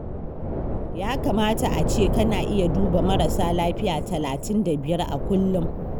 Ya kamata a ce kana iya duba marasa lafiya talatin da biyar a kullum